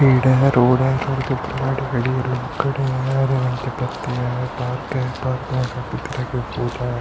पेड़ है रोड है। रोड के ऊपर गाड़ी खड़ी है लोग खड़े हैं। रेलिंग पे पत्ते हैं पार्क है पार्क में काफी तरह के फूल हैं।